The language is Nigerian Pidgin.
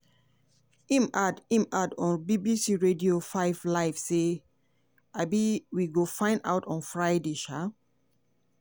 im add im add on bbc radio 5 live say: um "we go find out on friday. um